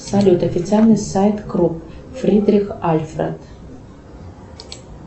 салют официальный сайт крупп фридрих альфред